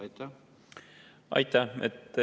Aitäh!